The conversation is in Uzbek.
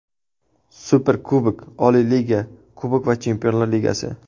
Superkubok, oliy liga, kubok va Chempionlar Ligasi.